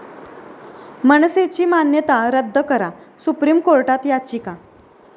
मनसे'ची मान्यता रद्द करा, सुप्रीम कोर्टात याचिका